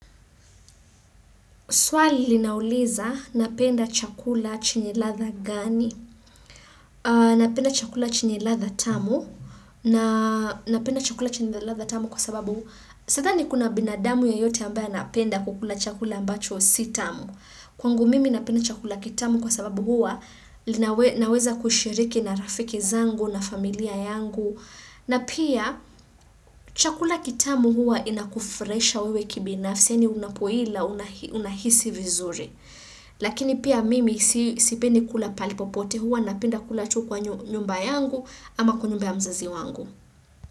Swali linauliza napenda chakula chenye ladha gani? Napenda chakula chenye ladha tamu. Na napenda chakula chenye ladha tamu kwa sababu sadhani kuna binadamu yeyote ambaya anapenda kukula chakula ambacho si tamu. Kwangu mimi napenda chakula kitamu kwa sababu hua naweza kushiriki na rafiki zangu na familia yangu. Na pia chakula kitamu hua inakufurahisha wewe kibinafsi. Yani unapoila unahisi vizuri. Lakini pia mimi sipendi kula pahali popote huwa napenda kula tu kwa nyumba yangu ama kwa nyumba ya mzazi wangu.